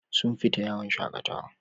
Sun fita yawon shakatawa.